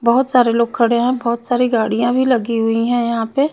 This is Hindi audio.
बोहोत सारे लोग खड़े है बोहोत सारी गाड़िया भी लगी हुयी है यहाँ पे।